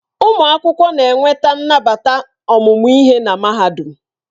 Ụmụ akwụkwọ na-enweta nnabata ọmụmụ ihe na Mahadum.